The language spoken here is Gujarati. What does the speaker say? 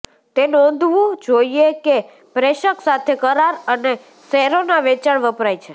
તે નોંધવું જોઇએ કે પ્રેષક સાથે કરાર અને શેરોના વેચાણ વપરાય છે